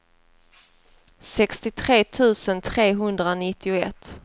sextiotre tusen trehundranittioett